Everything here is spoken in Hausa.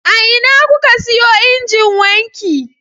A ina kuka siyo injin wanki?